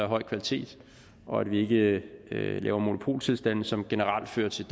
høj kvalitet og at vi ikke laver monopoltilstande som generelt fører til